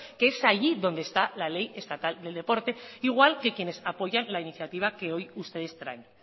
que es allí donde está la ley estatal del deporte al igual que quienes apoyan la iniciativa que hoy ustedes traen